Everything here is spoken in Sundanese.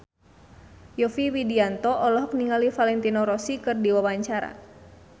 Yovie Widianto olohok ningali Valentino Rossi keur diwawancara